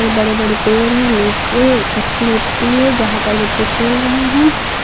बड़े बड़े पेड़ है नीचे कच्ची मिट्टी है जहां पर बच्चे खेल रहे हैं।